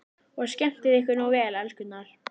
Og skemmtið ykkur nú vel, elskurnar!